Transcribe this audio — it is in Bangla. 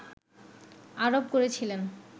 আরোপ করেছিলেন